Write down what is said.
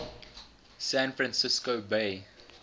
san francisco bay